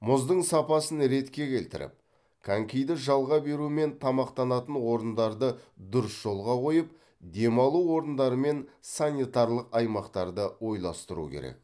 мұздың сапасын ретке келтіріп конькиді жалға беру мен тамақтанатын орындарды дұрыс жолға қойып демалу орындары мен санитарлық аймақтарды ойластыру керек